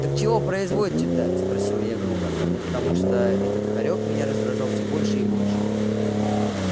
так чего производите-то спросила я грубо потому что этот хорёк меня раздражал всё больше и больше